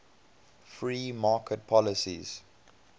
free market policies